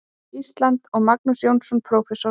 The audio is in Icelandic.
Íslands, og Magnús Jónsson, prófessor.